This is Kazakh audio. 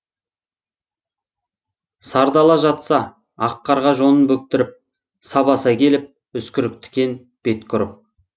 сардала жатса ақ қарға жонын бөктіріп сабаса келіп үскірік тікен бетке ұрып